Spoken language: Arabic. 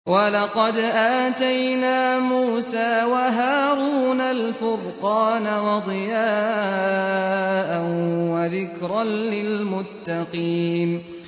وَلَقَدْ آتَيْنَا مُوسَىٰ وَهَارُونَ الْفُرْقَانَ وَضِيَاءً وَذِكْرًا لِّلْمُتَّقِينَ